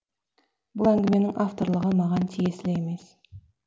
бұл әңгіменің авторлығы маған тиесілі емес